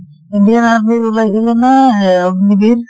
indian army ৰ ওলাইছিলে না এহ অগ্নীবিৰ